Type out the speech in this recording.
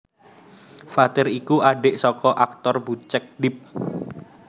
Fathir iku adhik saka aktor Bucek Depp